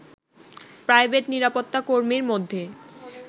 private নিরাপত্তা কর্মীর মধ্যে